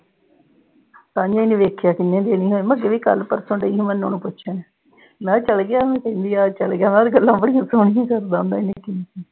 ਕੱਲ੍ਹ ਉਹਨੂੰ ਦੇਖਿਆ ਸੀ ਮੈਂ, ਜਿਹੜੇ ਕੱਲ੍ਹ-ਪਰਸੋਂ ਗਏ, ਮੈਂ ਉਨ੍ਹਾਂ ਨੂੰ ਪੁੱਛਿਆ। ਮੈਂ ਕਿਆ ਚਲ ਗਿਆ ਹੋਊ, ਪਿਛਲੀ ਵਾਰ ਚਲ ਗਿਆ ਸੀ, ਗੱਲਾਂ ਬੜੀਆਂ ਕਰਦਾ।